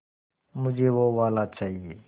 मुझे वो वाला चाहिए